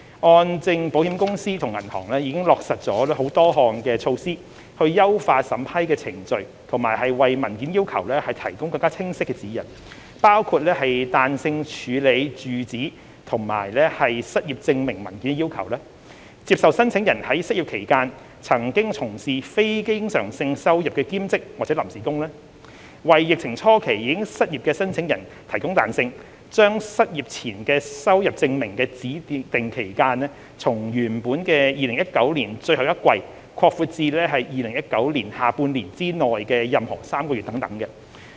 按證保險公司與銀行已經落實了多項措施，優化審批程序和為文件要求提供更清晰的指引，包括彈性處理住址及失業證明文件的要求；接受申請人在失業期間曾從事非經常性收入的兼職或臨時工；為疫情初期已失業的申請人提供彈性，將失業前收入證明的指定期間從原本的2019年最後一季擴闊至2019年下半年之內的任何3個月等。